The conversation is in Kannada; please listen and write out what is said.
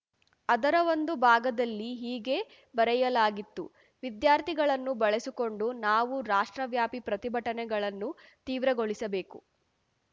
ಅದರ ಒಂದು ಭಾಗದಲ್ಲಿ ಹೀಗೆ ಬರೆಯಲಾಗಿತ್ತು ವಿದ್ಯಾರ್ಥಿಗಳನ್ನು ಬಳಸಿಕೊಂಡು ನಾವು ರಾಷ್ಟ್ರವ್ಯಾಪಿ ಪ್ರತಿಭಟನೆಗಳನ್ನು ತೀವ್ರಗೊಳಿಸಬೇಕು